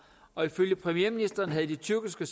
og ifølge premierministeren havde de tyrkiske